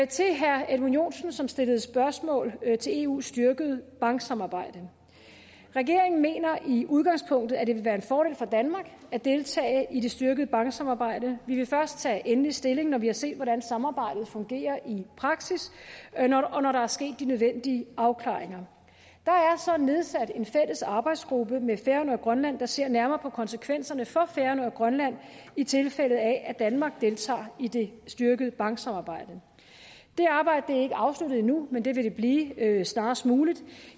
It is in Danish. til herre edmund joensen som stillede spørgsmål til eus styrkede banksamarbejde regeringen mener i udgangspunktet at det vil være en fordel for danmark at deltage i det styrkede banksamarbejde vi vil først tage endelig stilling når vi har set hvordan samarbejdet fungerer i praksis og når der er sket de nødvendige afklaringer der er så nedsat en fælles arbejdsgruppe med færøerne og grønland der ser nærmere på konsekvenserne for færøerne og grønland i tilfælde af at danmark deltager i det styrkede banksamarbejde det arbejde er ikke afsluttet endnu men det vil det blive snarest muligt